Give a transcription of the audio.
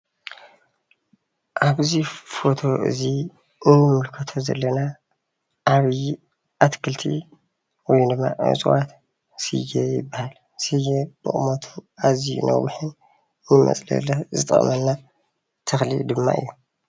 ኣብ እዚ ፎቶ እዚ እንምልከቶ ዘለና ዓብይ ኣትክልቲ ወይ ድማ እፅዋት ስየ ይባሃል፡፡ ስየ ብቁመቱ ኣዝዩ ነዊሕን ንመፅለሊ ዝጠቅመና ተክሊ ድማ እዩ፡፡